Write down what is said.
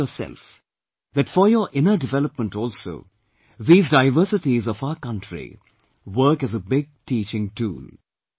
You may see for yourself, that for your inner development also, these diversities of our country work as a big teaching tool